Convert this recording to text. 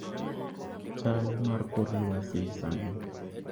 chal mar kor lwasi sani